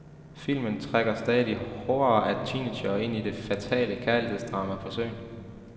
Filmen trækker stadig horder af teenagere ind i det fatale kærlighedsdrama på søen.